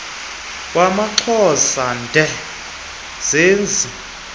wamaxhosa ndee zinzi